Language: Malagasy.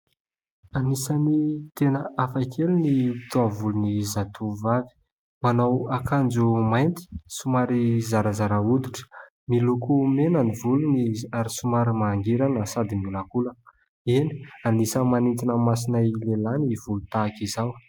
Anisany tena hafa kely ny taovolony zatovovavy. Manao akanjo mainty somary zarazara hoditra. Miloko mena ny volony ary somary mangirana sady miolankolana. Eny, anisany manintona ny masonay lehilahy ny volo tahaka izao.